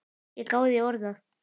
Ég gáði í orða